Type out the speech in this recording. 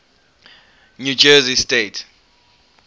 new jersey state